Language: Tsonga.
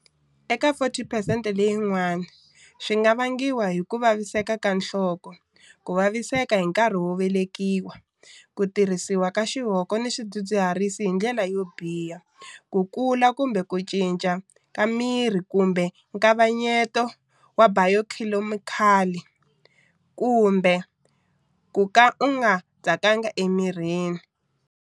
Eka 40 phesente leyin'wana, swi nga vangiwa hi ku vaviseka ka nhloko, ku vaviseka hi nkarhi wo velekiwa, ku tirhisiwa xihoko ni swidzi dziharisi hi ndlela yobiha, ku kula kumbe ku cinca ka miri kumbe nkavanyeto wa bayokhemikali kumbe ku ka u nga tsakanga emirini.